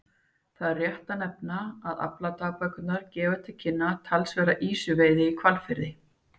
Þá er rétt að nefna að afladagbækurnar gefa til kynna talsverða ýsuveiði í Hvalfirði.